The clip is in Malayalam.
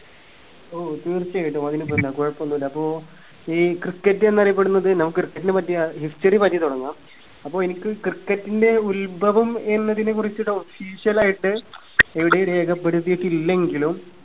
ഓ തീർച്ചയായിട്ടും അതിനിപ്പെന്നാ കുഴപ്പൊന്നുല്ല അപ്പോ ഈ cricket എന്നറിയപ്പെടുന്നത് നമുക് cricket നെ പറ്റിയ history പറ്റി തുടങ്ങാം അപ്പോ എനിക്ക് cricket ന്റെ ഉത്ഭവം എന്നതിനെ കുറിച്ചിട്ട് official ആയിട്ട് എവിടെയും രേഖപ്പെടുത്തിയിട്ടില്ലെങ്കിലും